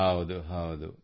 ಹೌದು ಹೌದು